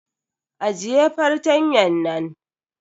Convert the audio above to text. Ajiye fartanyan nan.